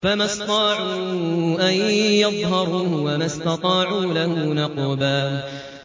فَمَا اسْطَاعُوا أَن يَظْهَرُوهُ وَمَا اسْتَطَاعُوا لَهُ نَقْبًا